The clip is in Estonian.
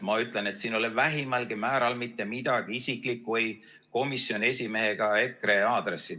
Ma ütlen, et siin ei ole vähimalgi määral mitte midagi isiklikku ei komisjoni esimehe ega EKRE aadressil.